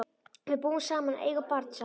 Við búum saman og eigum barn saman.